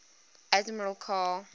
admiral karl